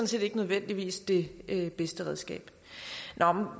set ikke nødvendigvis det bedste redskab når